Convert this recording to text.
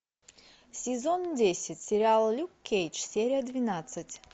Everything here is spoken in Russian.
сезон десять сериал люк кейдж серия двенадцать